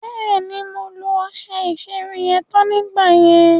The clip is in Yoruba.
Bẹ́ẹ̀ni, mo lo ọṣẹ ìṣerun yẹn tán nígbà yẹn.